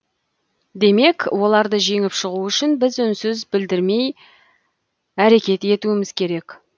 демек оларды жеңіп шығу үшін біз үнсіз білдірмей әрекет етуіміз керек